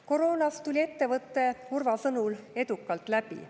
Koroonast tuli ettevõte Urva sõnul edukalt läbi.